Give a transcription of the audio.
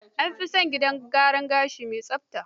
An fi son gidan gyaran gashi mai tsafta.